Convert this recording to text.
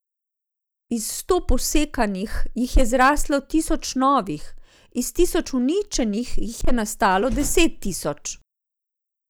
Iz sto posekanih jih je zraslo tisoč novih, iz tisoč uničenih jih je nastalo deset tisoč.